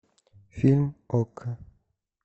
фильм окко